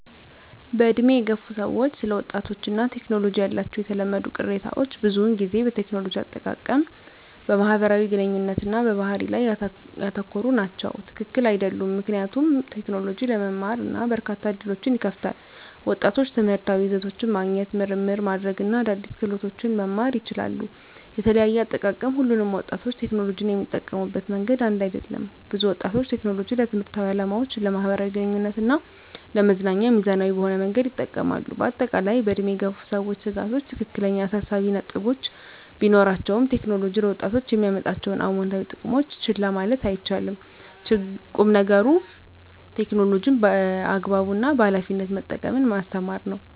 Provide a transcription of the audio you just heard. በዕድሜ የገፉ ሰዎች ስለ ወጣቶች እና ቴክኖሎጂ ያላቸው የተለመዱ ቅሬታዎች ብዙውን ጊዜ በቴክኖሎጂ አጠቃቀም፣ በማህበራዊ ግንኙነት እና በባህሪ ላይ ያተኮሩ ናቸው። # ትክክል አይደሉም ምክንያቱም: ቴክኖሎጂ ለመማር እና በርካታ ዕድሎችን ይከፍታል። ወጣቶች ትምህርታዊ ይዘቶችን ማግኘት፣ ምርምር ማድረግ እና አዳዲስ ክህሎቶችን መማር ይችላሉ። * የተለያየ አጠቃቀም: ሁሉም ወጣቶች ቴክኖሎጂን የሚጠቀሙበት መንገድ አንድ አይደለም። ብዙ ወጣቶች ቴክኖሎጂን ለትምህርታዊ ዓላማዎች፣ ለማኅበራዊ ግንኙነት እና ለመዝናኛ ሚዛናዊ በሆነ መንገድ ይጠቀማሉ። በአጠቃላይ፣ በዕድሜ የገፉ ሰዎች ስጋቶች ትክክለኛ አሳሳቢ ነጥቦች ቢኖራቸውም፣ ቴክኖሎጂ ለወጣቶች የሚያመጣቸውን አዎንታዊ ጥቅሞች ችላ ማለት አይቻልም። ቁም ነገሩ ቴክኖሎጂን በአግባቡ እና በኃላፊነት መጠቀምን ማስተማር ነው።